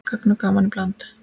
Gagn og gaman í bland.